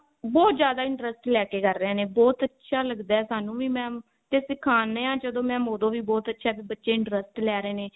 ਬਹੁਤ ਜਿਆਦਾ interest ਲੈ ਕੇ ਕਰ ਏਹੇ ਨੇ ਬਹੁਤ ਅੱਛਾ ਲੱਗਦਾ ਸਾਨੂੰ ਵੀ mam ਤੇ ਸਿਖਾਉਣੇ ਆ ਜਦੋਂ mam ਓਦੋਂ ਵੀ ਬਹੁਤ ਅੱਛਾ ਵੀ ਬੱਚੇ interest ਲੈ ਰਹੇ ਨੇ